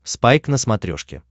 спайк на смотрешке